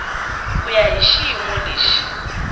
ku ya hi xiyimo lexi